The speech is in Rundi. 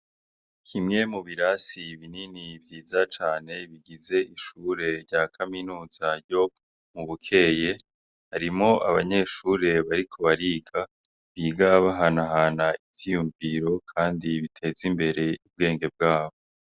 Kimwe mu birasi binini cane bigize ishure rya kaminuza ryo mu bukeye harimwo abanyeshure bariko bariga biga bahanahana ivyiyumviro kandi biteza imbere ubwenge bwabo.